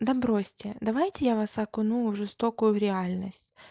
да бросьте давайте я вас окуну в жестокую в реальность